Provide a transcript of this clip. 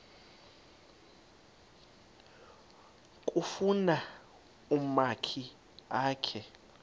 kufuna umakhi akhe